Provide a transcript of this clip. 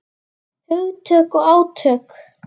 Hugtök og átök.